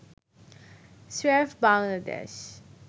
স্রেফ বাংলাদেশ